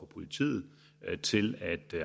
politiet til